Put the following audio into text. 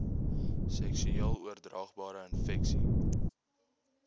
seksueel oordraagbare infeksies